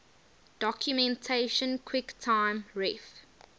documentation quicktime ref